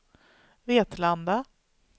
Vetlanda